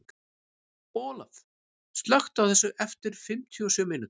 Olaf, slökktu á þessu eftir fimmtíu og sjö mínútur.